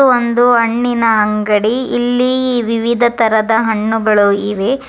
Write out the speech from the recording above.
ಇದು ಒಂದು ಹಣ್ಣಿನ ಅಂಗಡಿ ಇಲ್ಲಿ ವಿವಿಧ ತರಹದ ಹಣ್ಣುಗಳಿವೆ.